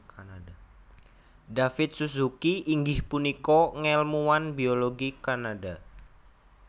David Suzuki inggih punika ngèlmuwan biologi Kanada